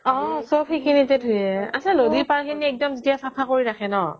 অ' সব সেইখিনিটেই ধুৱে আচ্ছা নদীৰ পাৰ খিনি একদম এতিয়া ছফা কৰি ৰাখে ন'